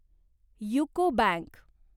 UCO bank